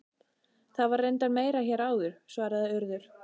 Það var reyndar meira hér áður- svaraði Urður.